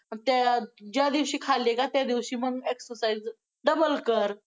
त्या, ज्या दिवशी खाल्ली ना, त्यादिवशी मग exercise, double कर!